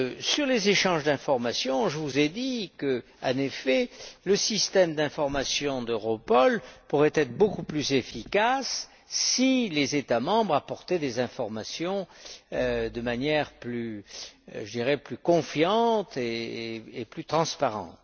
Sur les échanges d'informations, je vous ai dit qu'en effet le système d'information d'Europol pourrait être beaucoup plus efficace si les États membres apportaient des informations de manière plus confiante et plus transparente.